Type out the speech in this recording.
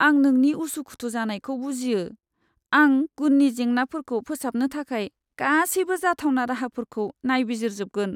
आं नोंनि उसुखुथु जानायखौ बुजियो, आं गुननि जेंनाफोरखौ फोसाबनो थाखाय गासैबो जाथावना राहाफोरखौ नायबिजिरजोबगोन।